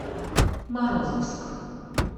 морозовск